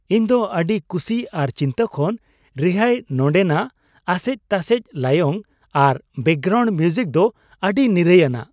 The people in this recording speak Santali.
ᱤᱧ ᱫᱚ ᱟᱹᱰᱤ ᱠᱩᱥᱤ ᱟᱨ ᱪᱤᱱᱛᱟᱹ ᱠᱷᱚᱱ ᱨᱤᱦᱟᱹᱭ, ᱱᱚᱸᱰᱮ ᱱᱟᱜ ᱟᱥᱮᱡ ᱛᱟᱥᱮᱡ ᱞᱟᱭᱚᱝ ᱟᱨ ᱵᱮᱠᱜᱨᱟᱣᱩᱱᱰ ᱢᱤᱣᱡᱤᱠ ᱫᱚ ᱟᱹᱰᱤ ᱱᱤᱨᱟᱹᱭᱟᱱᱟᱜ !